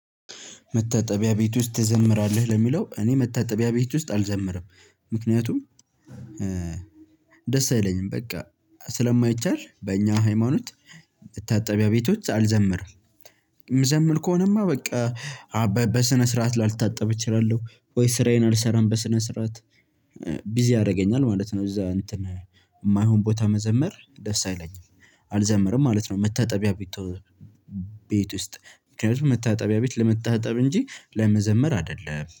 መታጠቢያ ቤት ውስጥ ትዘምራለህ? ለሚለው እኔ መታጠቢያ ቤት ውስጥ አልዘምርም። ምክንያቱም ደስ አይለኝም በቃ ስለማይቻል በእኛ ሃይማኖት መታጠቢያ ቤቶች አልዘምርም። እምዘምር ከሆነማ በቃ በ በስነ ስርዓት ላልታጠብ እችላለሁ፤ ወይ ስራዬን አልሰራም በስነ ስርዓት ቢዚ ያደርገኛል ማለት ነው፣ እዛ የማይሆን ቦታ መዘመር ደስ አይለኝም። አልዘምርም ማለት ነው መታጠቢያ ቤቶ ቤት ውስጥ፣ ምክንያቱም መታጠቢያ ቤት ለመታጠብ እንጂ ለመዘመር አይደለም።